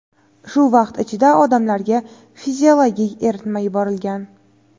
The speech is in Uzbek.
shu vaqt ichida odamlarga fiziologik eritma yuborilgan.